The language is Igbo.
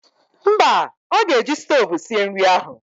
Mba, ọ ga-eji stoovu sie nri ahụ